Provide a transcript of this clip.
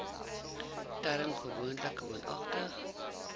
term gewoonlik woonagtig